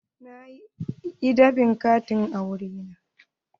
Na yi dab'in katin auren na.